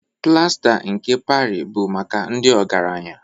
Plasta nke Parị bụ maka ndị ọgaranya